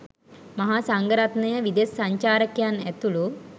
මහා සංඝරත්නය, විදෙස් සංචාරකයන්, ඇතුළු